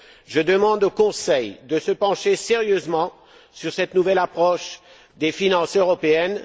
Je demande au Conseil de se pencher sérieusement sur cette nouvelle approche des finances européennes.